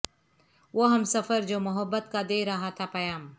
وہ ہمسفر جو محبت کا دے رہا تھا پیام